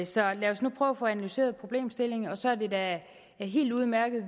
så lad os nu prøve at få analyseret problemstillingen så er det da helt udmærket